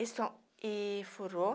E só e furou.